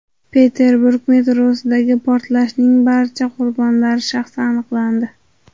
Peterburg metrosidagi portlashning barcha qurbonlari shaxsi aniqlandi.